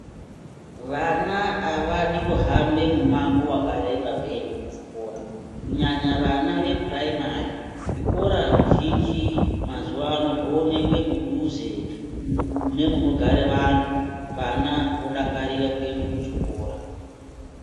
Vana avadi kuhamba mumango wakareba veienda kuchikora kunyanya vana vepuraimari zvikora zvizhinji mazuwaano zvoonekwe mudhuze nemunogara vanhu vana vodakarira kuende kuchikora.